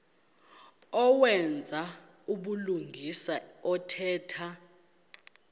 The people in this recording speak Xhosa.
owenza ubulungisa othetha